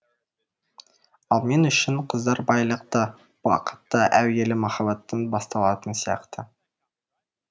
ал мен үшін қыздар байлық та бақыт та әуелі махаббаттан басталатын сияқты